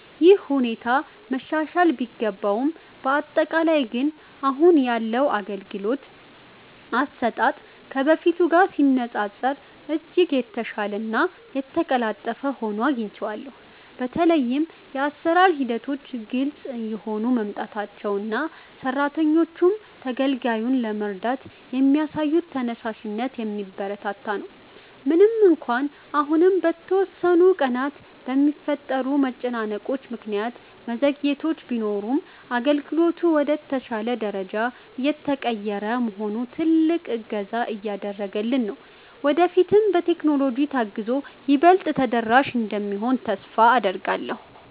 ይህ ሁኔታ መሻሻል ቢገባውም፣ በአጠቃላይ ግን አሁን ያለው የአገልግሎት አሰጣጥ ከበፊቱ ጋር ሲነፃፀር እጅግ የተሻለና የተቀላጠፈ ሆኖ አግኝቼዋለሁ። በተለይም የአሰራር ሂደቶች ግልጽ እየሆኑ መምጣታቸውና ሰራተኞቹም ተገልጋዩን ለመርዳት የሚያሳዩት ተነሳሽነት የሚበረታታ ነው። ምንም እንኳን አሁንም በተወሰኑ ቀናት በሚፈጠሩ መጨናነቆች ምክንያት መዘግየቶች ቢኖሩም፣ አገልግሎቱ ወደ ተሻለ ደረጃ እየተቀየረ መሆኑ ትልቅ እገዛ እያደረገልን ነው። ወደፊትም በቴክኖሎጂ ታግዞ ይበልጥ ተደራሽ እንደሚሆን ተስፋ አደርጋለሁ።